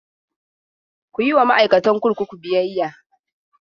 Ku yi wa ma'aikatan kurkuku biyayya!